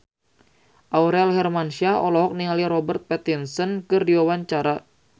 Aurel Hermansyah olohok ningali Robert Pattinson keur diwawancara